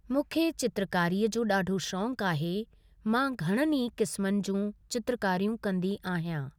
मूंखे चित्रकारीअ जो ॾाढो शौंक़ु आहे मां घणनि ई किस्मनि जूं चित्रकारियूं कंदी आहियां ।